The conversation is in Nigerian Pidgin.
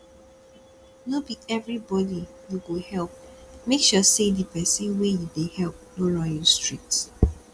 no be everybody you go help make sure say the persin wey you de help no run you street